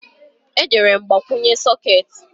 E jere m igbanye sokeeti